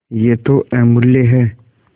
यह तो अमुल्य है